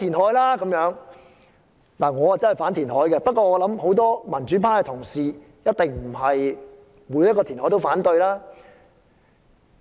我本人確是反對填海，但我相信很多民主派同事一定不會凡填海必反。